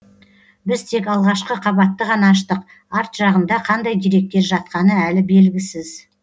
біз тек алғашқы қабатты ғана аштық арт жағында қандай деректер жатқаны әлі белгісіз